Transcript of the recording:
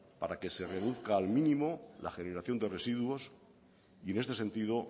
para que se reduzca al mínimo la generación de residuos y en este sentido